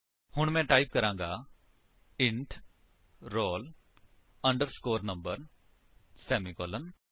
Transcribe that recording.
ਹੁਣ ਮੈਂ ਟਾਈਪ ਕਰਾਂਗਾ int roll underscore number semicolon